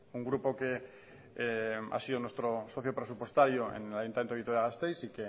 un grupo que ha sido nuestro socio presupuestario en el ayuntamiento de vitoria gasteiz y